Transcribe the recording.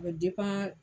A bɛ